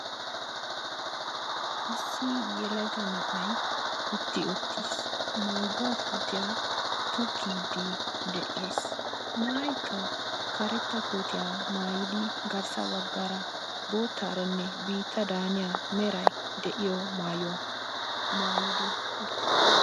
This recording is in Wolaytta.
Issi yelaga na'ay utti uttiis; mangguwa puutiyaa tokkidi de'ees; na'aykka karetta kootiyaa maayyidi garssa baggara boottaranne meray biittadani haniya meray de'iyo maayuwa maayidi uttiis.